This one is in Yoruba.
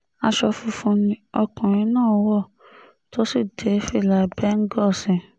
aṣọ funfun ni ọkùnrin náà wọ̀ tó sì dé fìlà bẹ́ńgòó sí i